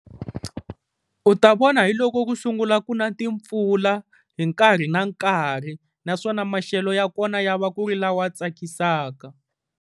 U ta vona hiloko ku sungula ku na timpfula hi nkarhi na nkarhi, naswona maxelo ya kona ya va ku ri lawa tsakisaka.